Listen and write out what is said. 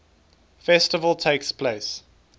festival takes place